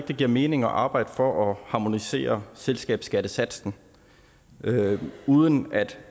det giver mening at arbejde for at harmonisere selskabsskattesatsen uden at